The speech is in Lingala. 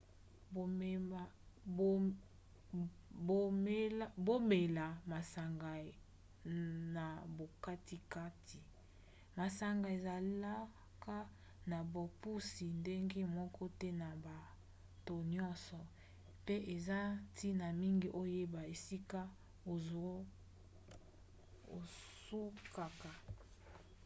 bomela masanga na bokatikati. masanga ezalaka na bopusi ndenge moko te na bato nyonso pe eza ntina mingi oyeba esika osukaka